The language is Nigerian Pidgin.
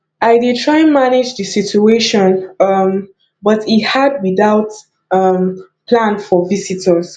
i dey try manage the situation um but e hard without um plan for visitors